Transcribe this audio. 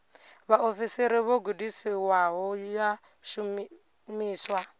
vhaofisiri vho gudisiwaho ya shumiswa